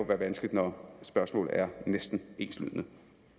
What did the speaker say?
være vanskeligt når spørgsmålene er næsten enslydende